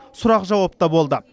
сұрақ жауап та болды